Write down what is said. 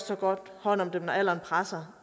tage godt hånd om dem når alderen presser